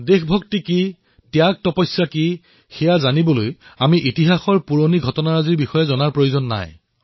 দেশভক্তি কি ত্যাগতপস্যা কিতাৰ বাবে আমি ইতিহাসৰ পুৰণি ঘটনাসমূহ জনাৰ প্ৰয়োজন নাই